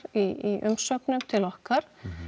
í umsögn til okkar